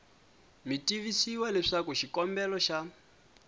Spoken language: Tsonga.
mi tivisiwa leswaku xikombelo xa